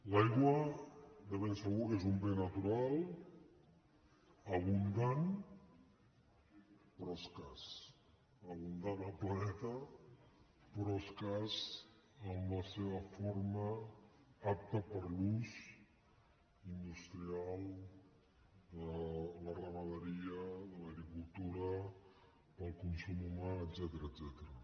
l’aigua de segur que és un bé natural abundant però escàs abundant al planeta però escàs en la seva forma apta per a l’ús industrial de la ramaderia de l’agricultura per al consum humà etcètera